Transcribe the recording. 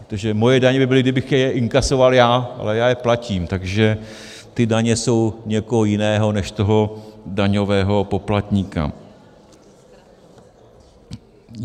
Protože moje daně by byly, kdybych je inkasoval já, ale já je platím, takže ty daně jsou někoho jiného než toho daňového poplatníka.